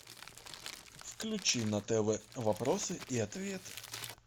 включи на тв вопросы и ответы